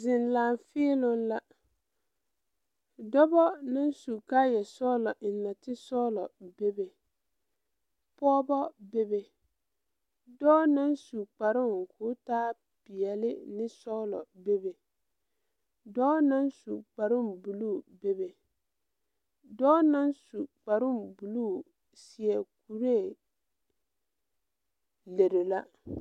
Zèŋ laafèèloŋ la dɔbɔ naŋ su kaayɛ sɔglɔ eŋ nɔɔte sɔglɔ bebe pɔɔbɔ bebe dɔɔ naŋ su kparoŋ ko taa peɛle ne sɔglɔ bebe dɔɔ naŋ su kparoo bluu bebe dɔɔ naŋ su kparoo bluu seɛ kuree lere la.